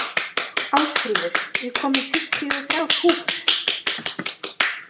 Ásfríður, ég kom með fimmtíu og þrjár húfur!